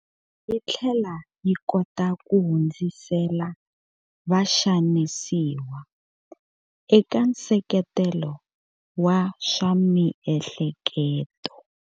Yi tlhela yi kota ku hundzisela vaxanisiwa eka nseketelo wa swa miehleketo.